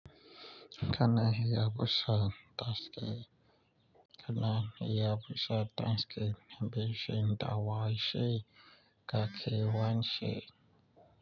Kana iya busa taske, kana iya busa taske mai bishiya da waye shi ka kai wance.